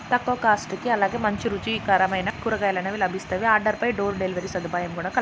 తక్కువ కాస్టుకే అలానే మంచి రుచి కరమయిన కూరగాయలు లభిస్తాయి ఆర్డర్ ఫై డోరు డెలివరీ సదుపాయం కూడా కలదు